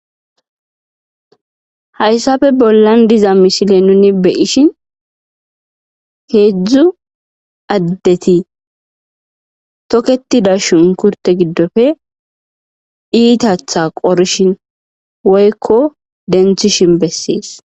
Hayssape bollan diza misile nuni be'ishin heedzdzu addeti tokketida shunkurte giddoppe iitaththa qorishin woykko denththishin besses.